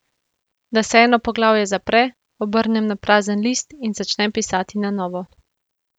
Da se eno poglavje zapre, obrnem na prazen list in začnem pisati na novo.